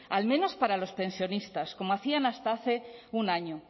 al menos para los pensionistas como hacían hasta hace un año